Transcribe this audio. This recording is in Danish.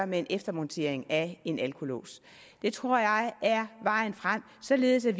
med en eftermontering af en alkolås det tror jeg er vejen frem således at